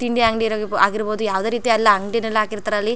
ತಿಂಡಿ ಅಂಗಡಿ ಆಗಿರಬಹುದು ಯಾವದೇ ರೀತಿ ಅಲ್ಲಿ ಅಂಗಡಿನಲ್ಲಿ ಹಾಕಿರತ್ತರೆ ಅಲ್ಲಿ.